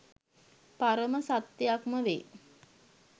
පරම සත්යක්මවේ.